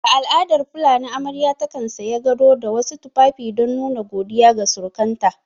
A al'adar fulani amarya takan saya gado da wasu tufafi don nuna godiya ga surukanta